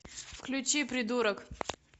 включи придурок